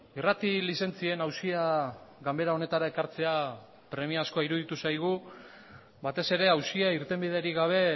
irrati lizentzien auzia ganbera honetara ekartzea premiazkoa iruditu zaigu batez ere auzia irtenbiderik gabe